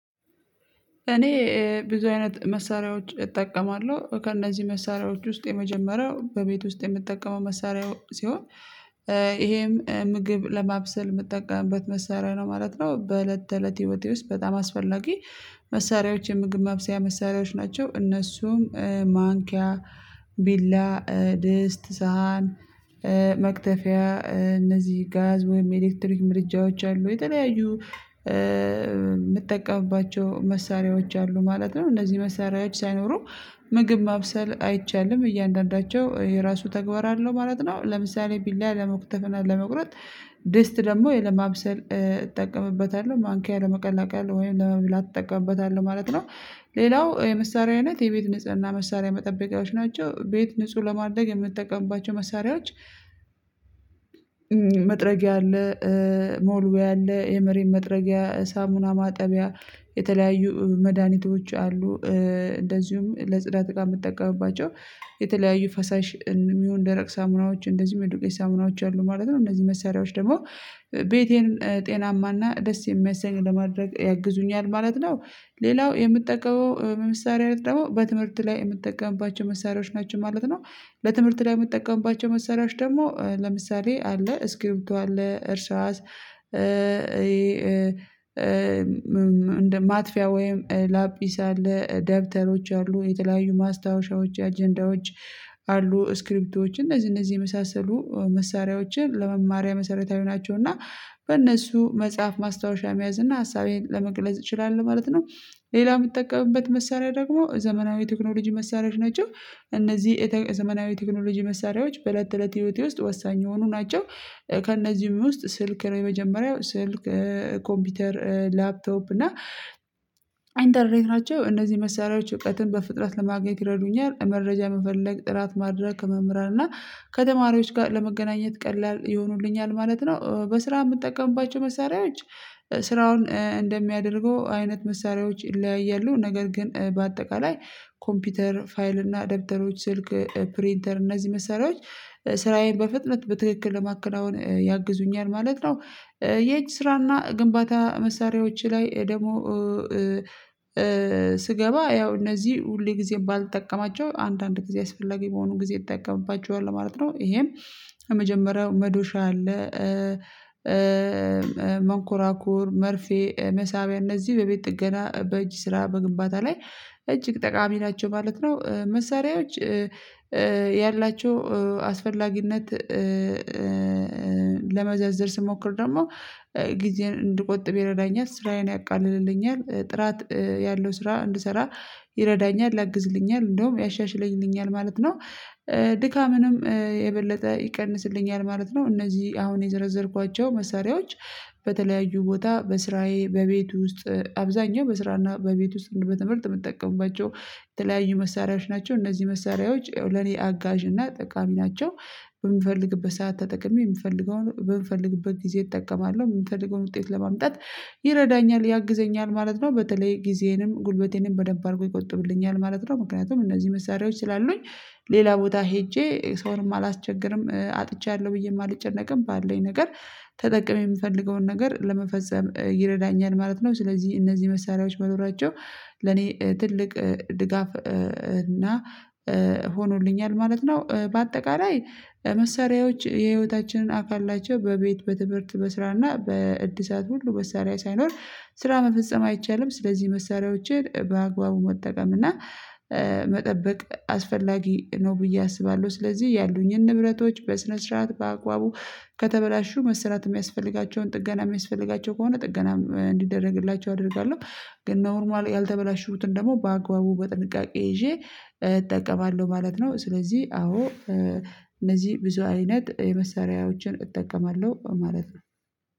እኔ ብዙ አይነት መሳሪያዎች እጠቀማለሁ ከእነዚህ መሳሪያዎች ውስጥ የመጀመሪያው በቤት ውስጥ የምጠቀመው መሳሪያ ሲሆን። ይሄም ምግብ ለማብሰል የምትጠቀምበት መሳሪያ ነው ማለት ነው። በእለት ተእለት ህይወቴ ውስጥ በጣም አስፈላጊ መሳሪያዎች የምግብ ማብሰያ መሳሪያዎች ናቸው። እነሱም ማንኪያ፣ ቢላ፣ ድስት፣ ሳህን መክተፊያ እነዚህ ጋዝ ወይም ኤሌክትሪክ ምድጃዎች አሉ። የተለያዩ የምጠቀምባቸው መሳሪያዎች አሉ ማለት ነው። እነዚህ መሳሪያዎች ሳይኖሩ ምግብ ማብሰል አይቻልም። እያንዳንዳቸው የራሱ ተግባር አለው ማለት ነው። ለምሳሌ ቢላ ለመክተፍ እና ለመቁረጥ ድስት ደግሞ ያው ለማብሰል እጠቀምበታለሁ። ማንኪያ ለመቀላቀል ወይም ለመብላት እጠቀምበታለሁ ማለት ነው። ሌላው የመሳሪያ አይነት የቤት ንጽህና መሳሪያ መጠበቂያዎች ናቸው። ቤት ንጹህ ለማድረግ የምጠቀምባቸው መሳሪያዎች መጥረጊያ አለ፣ መወልወያ አለ፣ የመሬት መጥረጊያ፣ ሳሙና ማጠቢያ የተለያዩ መድኃኒቶች አሉ እንደዚሁም ለጽዳት እቃ የምጠቀምባቸው የተለያዩ ፈሳሽ እንዲሁም ደረቅ ሳሙናዎች እንደዚሁም የዱቄት ሳሙናዎች አሉ ማለት ነው። እነዚህ መሳሪያዎች ደግሞ ቤቴን ጤናማና ደስ የሚያሰኝ ለማድረግ ያግዙኛል ማለት ነው። ሌላው የምጠቀመው የመሳሪያ አይነት ደግሞ በትምህርት ላይ የምትጠቀምባቸው መሳሪያዎች ናቸው ማለት ነው። በትምህርት ላይ የምጠቀምባቸው መሳሪያዎች ደግሞ ለምሳሌ አለ ስክሪብቶ አለ፣ እርሳስ እንደ ማጥፊያ ወይም ላፒስ አለ፣ ደብተሮች አሉ፣ የተለያዩ ማስታወሻዎች አጀንዳዎች አሉ፣ ስክሪብቶች እነዚህ እነዚህ የመሳሰሉ መሳሪያዎችን ለመማሪያ መሰረታዊ ናቸው እና በእነሱ መጻፍ ማስታወሻ መያዝ እና ሀሳቤን ለመግለጽ እችላለሁ ማለት ነው። ሌላው የምጠቀምበት መሳሪያ ደግሞ ዘመናዊ ቴክኖሎጂ መሳሪያዎች ናቸው። እነዚህ የዘመናዊ ቴክኖሎጂ መሳሪያዎች በእለት ተእለት ህይወቴ ውስጥ ወሳኝ የሆኑ ናቸው። ከእነዚህም ውስጥ ስልክ ነው የመጀመሪያው። ስልክ፣ ኮምፒውተር፣ ላፕቶፕ እና ኢንተርኔት ናቸው። እነዚህ መሳሪያዎች እውቀትን በፍጥነት ለማግኘት ይረዱኛል። መረጃ መፈለግ ጥራት ማድረግ ከመምህራን እና ከተማሪዎች ጋር ለመገናኘት ቀላል ይሆኑልኛል ማለት ነው። በስራ የምጠቀምባቸው መሳሪያዎች ስራውን እንደሚያደርገው አይነት መሳሪያዎች ይለያያሉ። ነገር ግን በአጠቃላይ ኮምፒውተር፣ ፋይል እና ደብተሮች፣ ስልክ ፕሪንተር እነዚህ መሳሪዎች ስራዬን በፍጥነት በትክክል ለማከናወን ያግዙኛል ማለት ነው። የእጅ ስራና ግንባታ መሳሪያዎች ላይ ደግሞ ስገባ ያው እነዚህ ሁልጊዜም ባልጠቀማቸው አንድአንድ ጊዜ አስፈላጊ በሆኑ ጊዜ እጠቀምባቸዋለሁ ማለት ነው። ይሄም የመጀመሪያው መዶሻ አለ፣ መንኮራኩር፣ መርፌ፣ መሳቢያ እነዚህ በቤት ጥገና በእጅ ስራ በግንባታ ላይ እጅግ ጠቃሚ ናቸው ማለት ነው። መሳሪያዎች ያላቸው አስፈላጊነት ለመዘርዘር ስሞክር ደግሞ ጊዜን እንድቆጥብ ይረዳኛል፣ ስራዬን ያቃልልልኛል፣ ጥራት ያለው ስራ እንድሰራ ይረዳኛል፣ ያግዝልኛል፣ እንደውም ያሻሽልኛል ማለት ነው። ድካምንም የበለጠ ይቀንስልኛል ማለት ነው። እነዚህ አሁን የዘረዘርኳቸው መሳሪያዎች በተለያዩ ቦታ በስራዬ በቤት ውስጥ አብዛኛው በስራና በቤት ውስጥ እንዲሁም በትምህርት የምጠቀምባቸው የተለያዩ መሳሪያዎች ናቸው። እነዚህ መሳሪያዎች ለኔ አጋዥ እና ጠቃሚ ናቸው። በምፈልግበት ሰዓት ተጠቅሜ የምፈልገውን በምፈልግበት ጊዜ እጠቀማለሁ። የምፈልገውን ውጤት ለማምጣት ይረዳኛል፣ ያግዘኛል ማለት ነው። በተለይ ጊዜንም ጉልበቴንም በደንብ አድርጎ ይቆጥብልኛል ማለት ነው። ምክንያቱም እነዚህ መሳሪያዎች ስላሉኝ ሌላ ቦታ ሄጄ ሰውንም አላስቸግርም። አጥቻለሁ ብዬም አልጨነቅም። ባለኝ ነገር ተጠቅሜ የምፈልገውን ነገር ለመፈጸም ይረዳኛል ማለት ነው። ስለዚህ እነዚህ መሳሪያዎች መኖራቸው ለኔ ትልቅ ድጋፍ እና ሆኖልኛል ማለት ነው። በአጠቃላይ መሳሪያዎች የህይወታችንን አካል ናቸው። በቤት፣ በትምህርት፣ በስራ እና በዕድሳት ሁሉ መሳሪያ ሳይኖር ስራ መፈጸም አይቻልም። ስለዚህ መሳሪያዎችን በአግባቡ መጠቀም እና መጠበቅ አስፈላጊ ነው ብዬ አስባለሁ። ስለዚህ ያሉኝን ንብረቶች በስነ ስርዓት በአግባቡ ከተበላሹ መስራት የሚያስፈልጋቸውን ጥገና የሚያስፈልጋቸው ከሆነ ጥገናም እንዲደረግላቸው አደርጋለሁ። ግን 'ኖርማሊ' ያልተበላሹትን ደግሞ በአግባቡ በጥንቃቄ ይዤ እጠቀማለሁ ማለት ነው። ስለዚህ አዎ እነዚህ ብዙ አይነት የመሰሪያዎችን እጠቀማለሁ ማለት ነው።